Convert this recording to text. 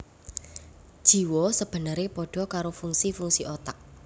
Jiwa sebenere padha karo fungsi fungsi otak